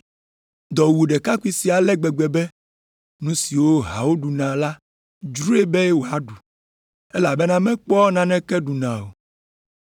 Dɔ wu ɖekakpui sia ale gbegbe be nu siwo hawo ɖuna la dzroe be wòaɖu, elabena mekpɔa naneke ɖuna o.